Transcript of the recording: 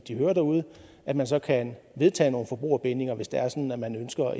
de hører derude at man så kan vedtage nogle forbrugerbindinger hvis det er sådan at man ønsker